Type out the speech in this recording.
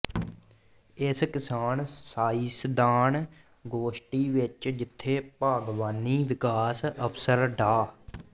ਇਸ ਕਿਸਾਨ ਸਾਇੰਸਦਾਨ ਗੋਸ਼ਟੀ ਵਿੱਚ ਜਿੱਥੇ ਬਾਗਵਾਨੀ ਵਿਕਾਸ ਅਫਸਰ ਡਾ